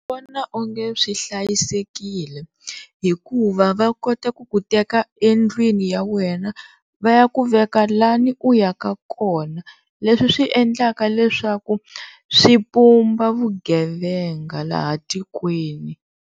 Ni vona onge swi hlayisekile hikuva va kota ku ku teka endlwini ya wena va ya ku veka lani u ya ka kona leswi swi endlaka leswaku swi pumba vugevenga laha tikweni.